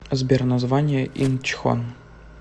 сбер название инчхон